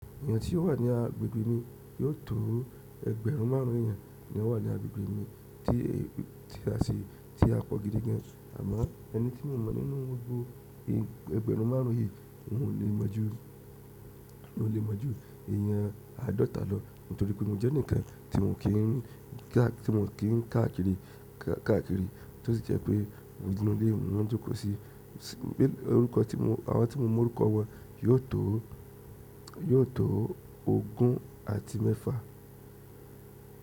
Èèyàn tí ó wà ní agbègbè mi yóò tó ẹgbẹ̀rún márùn ún èèyàn ni ó wà ní agbègbè mi tí a ṣe, tí a pọ̀ gidi gan an. Àmọ́ ẹni tí mo mọ̀ nínú gbogbó ẹgbẹ̀rún márùn ún yìí, mi ò lè mọ̀ ju mi ò lè mọ̀ ju èèyàn àádọ́ta lọ nítorí pé mo jẹ́ ẹnìkan tí n ò kí ń káàkiri, tó sì jẹ́ pé mo, inú ilé ni mo ma ń jókòó sí, orúkọ tí mo, àwọn tí mo mọ orúkọ wọn yóò tó ogún àti mẹ́fà.